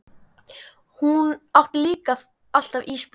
Hún átti líka alltaf ísblóm.